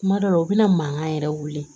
Kuma dɔ la u bɛna mankan yɛrɛ wili